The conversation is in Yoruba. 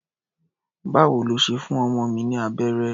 Báwo lo ṣe fún ọmọ mi ní abẹ́rẹ́?